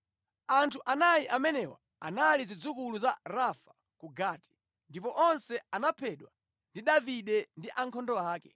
Anthu anayi amenewa anali zidzukulu za Rafa ku Gati, ndipo onse anaphedwa ndi Davide ndi ankhondo ake.